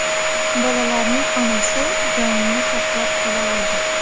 Bolalarning onasi jonini saqlab qola oldi.